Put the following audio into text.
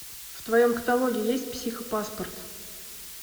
в твоем каталоге есть психопаспорт